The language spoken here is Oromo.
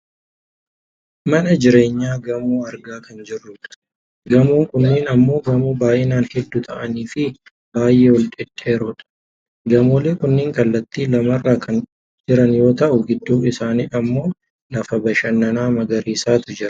mana jireenyaa gamoo argaa kan jirrudha. gamoon kunneen ammoo gamoo baayinan hedduu ta'aniifi baayyee ol dhedheeroodha. gamoolee kunneen kallattii lamarra kan jiran yoo ta'u gidduu isaanii ammoo lafa bashannanaa magariisatu jira.